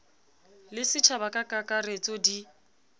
le setjhaba ka kakaretso di